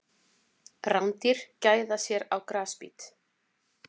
Rándýr gæða sér á grasbít.